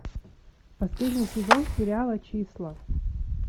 последний сезон сериала числа